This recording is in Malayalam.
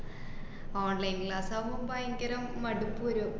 online class ആകുമ്പോ ഭയങ്കരം മടുപ്പ് വരും.